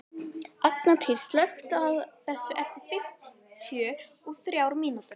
Angantýr, slökktu á þessu eftir fimmtíu og þrjár mínútur.